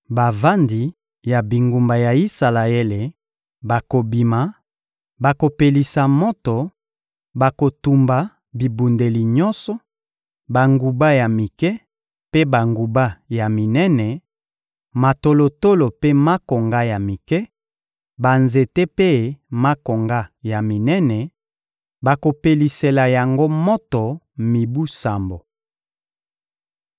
Bavandi ya bingumba ya Isalaele bakobima, bakopelisa moto, bakotumba bibundeli nyonso: banguba ya mike mpe banguba ya minene, matolotolo mpe makonga ya mike, banzete mpe makonga ya minene; bakopelisela yango moto mibu sambo.